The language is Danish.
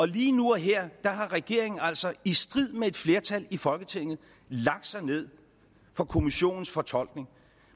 lige nu og her har regeringen altså i strid med et flertal i folketinget lagt sig ned for kommissionens fortolkning